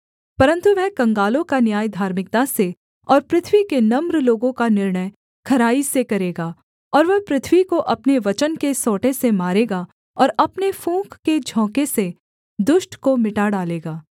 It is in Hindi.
परन्तु वह कंगालों का न्याय धार्मिकता से और पृथ्वी के नम्र लोगों का निर्णय खराई से करेगा और वह पृथ्वी को अपने वचन के सोंटे से मारेगा और अपने फूँक के झोंके से दुष्ट को मिटा डालेगा